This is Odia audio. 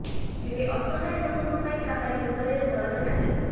ହେଲେ ଅସହାୟ ଲୋକଙ୍କ ପାଇଁ କାହାରି ହୃଦୟରେ ଦରଦ ନାହିଁ